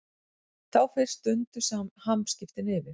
Þá fyrst dundu hamskiptin yfir.